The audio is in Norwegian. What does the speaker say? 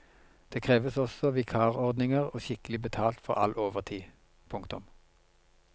Det kreves også vikarordninger og skikkelig betalt for all overtid. punktum